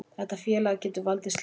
Þetta félag getur valdið slysum,